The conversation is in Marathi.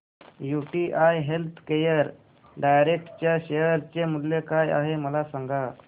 यूटीआय हेल्थकेअर डायरेक्ट च्या शेअर चे मूल्य काय आहे मला सांगा